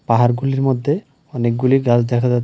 পাহাড়গুলির মধ্যে অনেকগুলি গাছ দেখা যাচ্ছে।